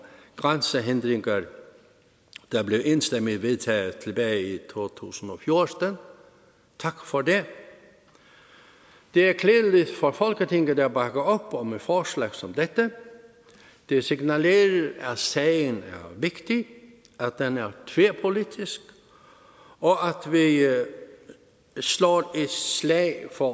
grænsehindringer der blev enstemmigt vedtaget tilbage i to tusind og fjorten tak for det det er klædeligt for folketinget at bakke op om et forslag som dette det signalerer at sagen er vigtig at den er tværpolitisk og at vi slår et slag for